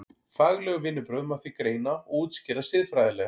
Fagleg vinnubrögð má því greina og útskýra siðfræðilega.